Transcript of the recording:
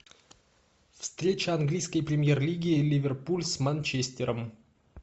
встреча английской премьер лиги ливерпуль с манчестером